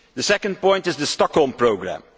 The second point is the Stockholm Programme.